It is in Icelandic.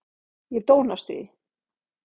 Ég dó næstum því.